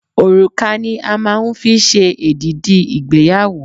Òrùka ni a máa ń fi ṣe èdìdí ìgbéyàwó